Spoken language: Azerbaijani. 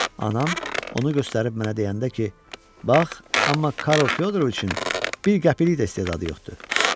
Anam onu göstərib mənə deyəndə ki, bax, amma Karl Fyodoroviçin bir qəpiklik də istedadı yoxdur.